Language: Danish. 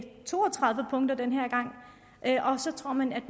to og tredive punkter og så tror at man